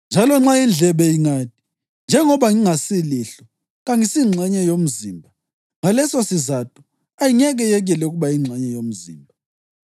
Njalo nxa indlebe ingathi, “Njengoba ngingasilihlo, kangisingxenye yomzimba,” ngalesosizatho ayingeke yekele ukuba yingxenye yomzimba.